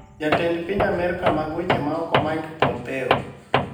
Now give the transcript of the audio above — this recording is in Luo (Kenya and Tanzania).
Jatend piny Amerka mag weche maoko Mike Pompeo